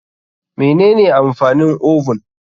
Mene ne amfanin oven?